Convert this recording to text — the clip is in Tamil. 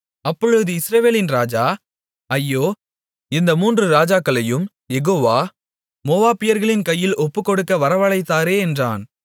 அப்பொழுது இஸ்ரவேலின் ராஜா ஐயோ இந்த மூன்று ராஜாக்களையும் யெகோவா மோவாபியர்களின் கையில் ஒப்புக்கொடுக்க வரவழைத்தாரே என்றான்